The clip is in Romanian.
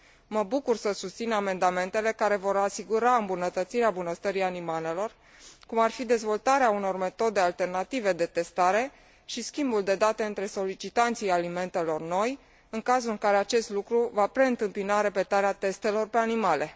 Mă bucur să susțin amendamentele care vor asigura îmbunătățirea bunăstării animalelor, cum ar fi dezvoltarea unor metode alternative de testare și schimbul de date între solicitanții alimentelor noi, în cazul în care acest lucru va preîntâmpina repetarea testelor pe animale.